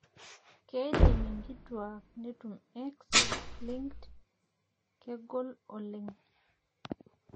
keidim inkituak netum X linked ,kegol oleng'